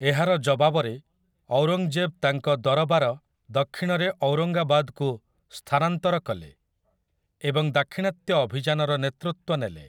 ଏହାର ଜବାବରେ, ଔରଙ୍ଗଜେବ ତାଙ୍କ ଦରବାର ଦକ୍ଷିଣରେ ଔରଙ୍ଗାବାଦକୁ ସ୍ଥାନାନ୍ତର କଲେ ଏବଂ ଦାକ୍ଷିଣାତ୍ୟ ଅଭିଯାନର ନେତୃତ୍ୱ ନେଲେ ।